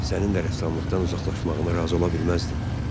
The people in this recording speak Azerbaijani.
Sənin də rəssamlıqdan uzaqlaşmağına razı ola bilməzdim.